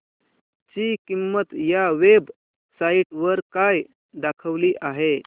ची किंमत या वेब साइट वर काय दाखवली आहे